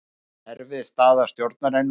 Erfið staða stjórnarinnar